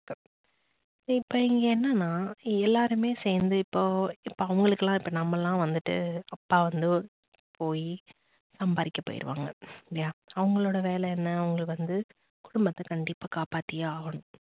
இப்ப இங்க என்ன நா எல்லாருமே சேர்ந்து இப்போ இப்ப அவங்களுக்கெல்லாம் நாமெல்லாம் வந்துட்டு அப்பா வந்து போய் சம்பாதிக்க போய்டுவாங்க இல்லையா அவங்களோட வேலை என்ன அவங்க வந்து குடும்பத்த கண்டிப்பா காப்பாத்தியே ஆகணும்